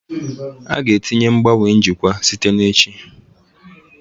A ga-etinye ngbanwe njikwa site na echi